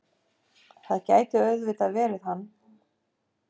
Það gæti auðvitað verið hann.